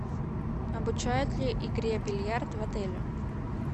обучают ли игре в бильярд в отеле